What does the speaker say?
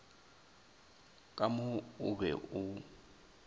ka mo o be o